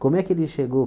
Como é que ele chegou?